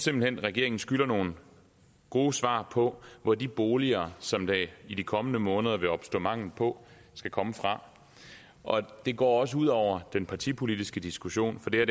hen regeringen skylder nogle gode svar på hvor de boliger som der er i de kommende måneder vil opstå mangel på skal komme fra det går også ud over den partipolitiske diskussion for det